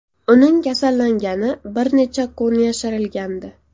Uning kasallangani bir necha kun yashirilgandi .